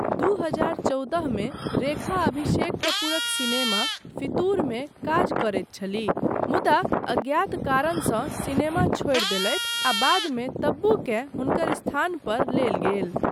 दू हजार चौदहमे, रेखा अभिषेक कपूरक सिनेमा 'फितूर' मे काज करैत छलीह, मुदा अज्ञात कारणसँ सिनेमा छोड़ि देलथि आ बादमे तब्बूकेँ हुनकर स्थान पर लेल गेल।